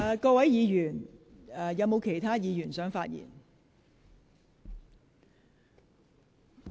是否有其他議員想發言？